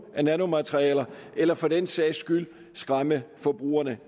af nanomaterialer eller for den sags skyld skræmme forbrugerne